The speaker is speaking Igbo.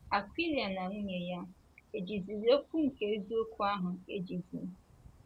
Akwịla na nwunye ya, ejiziri okwu nke eziokwu ahụ ejizi?